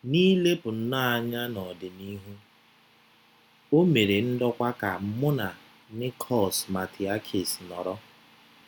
N’ilepụ nnọọ anya n’ọdịnihu, o mere ndokwa ka mụ na Nikos Matheakis nọrọ.